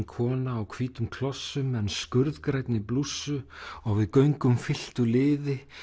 kona á hvítum klossum en blússu og við göngum fylktu liði